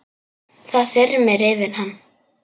Það þyrmir yfir hann.